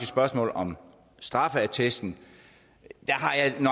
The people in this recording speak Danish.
spørgsmålet om straffeattesten